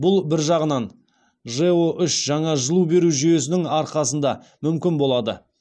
бұл бір жағынан жэо үш жаңа жылу беру жүйесінің арқасында мүмкін болады